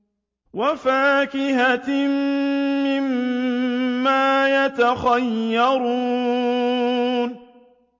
وَفَاكِهَةٍ مِّمَّا يَتَخَيَّرُونَ